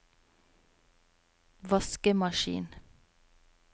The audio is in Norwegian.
vaskemaskin